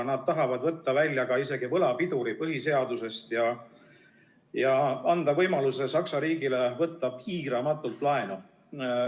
Nad tahavad võtta välja isegi võlapiduri põhiseadusest ja anda Saksa riigile võimaluse võtta piiramatult laenu.